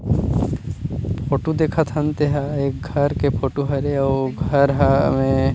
photo देखत हन तेहा घर के फोटो हरे अऊ घर हा--